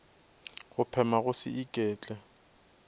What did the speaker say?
go phema go se iketle